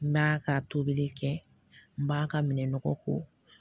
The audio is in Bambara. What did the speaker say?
N b'a ka tobili kɛ n b'a ka minɛn nɔgɔ ko